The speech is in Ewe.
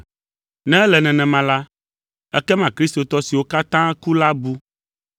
Ne ele nenema la, ekema kristotɔ siwo katã ku la bu,